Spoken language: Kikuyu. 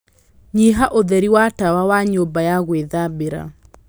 nyiha ũtheri wa tawa wa nyũmba ya gwĩthambĩra